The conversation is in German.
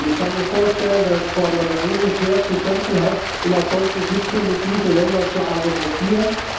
Ich kann mir vorstellen, dass Frau Mogherini schwer zu kämpfen hat, um auf solchen Gipfeln mit diesen Ländern zu argumentieren.